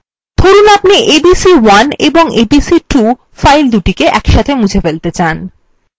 ধরুন আপনি abc1 এবং abc2 filesদুটি মুছে ফেলাত়ে চান